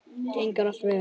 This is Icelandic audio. Gengur allt vel?